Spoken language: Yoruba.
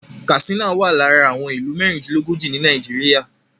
Katsina wà lára àwọn ìlú mẹ́rìndínlógójì ni Nàìjíríà